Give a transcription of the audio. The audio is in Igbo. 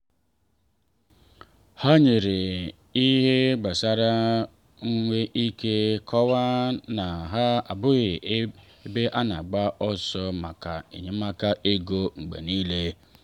ha nyere ihe ha nwere ike ma kọwaa na ha abụghị ebe a na agba ọsọ maka enyemaka ego mgbe niile.